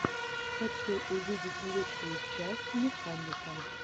хочу увидеть лучшую часть механика